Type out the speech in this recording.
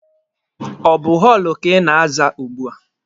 Ọ bụ họọlụ ka ị na-aza ugbua?